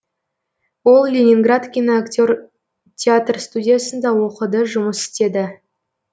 ол ленинград киноактер театр студиясында оқыды жұмыс істеді